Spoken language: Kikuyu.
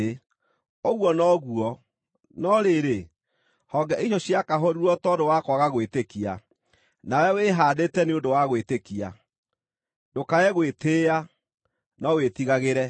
Ũguo noguo. No rĩrĩ, honge icio ciakahũrirwo tondũ wa kwaga gwĩtĩkia, nawe wĩhaandĩte nĩ ũndũ wa gwĩtĩkia. Ndũkae gwĩtĩĩa, no wĩtigagĩre.